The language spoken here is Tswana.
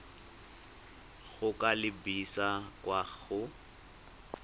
go ka lebisa kwa go